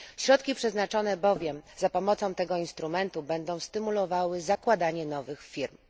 Środki przeznaczone bowiem za pomocą tego instrumentu będą stymulowały zakładanie nowych firm.